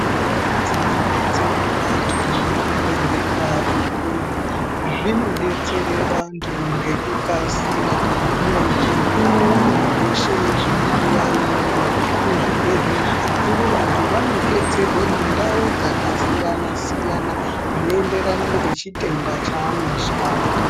Ndau dzinodetsere vantu ngezvibhehlera zvikuru zvinodetsere vantu ngekukasira. Muntu unoone zveshe zvinodiwa iyoyo. Kuzvibhehlera zvikuru vantu vanodetserwe mundau dzakasiyana-siyana, zveienderana nechitenda chaanozwa.